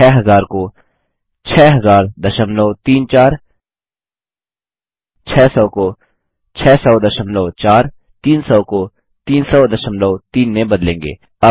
हम 6000 को 600034 600 को 6004 300 को 3003 में बदलेंगे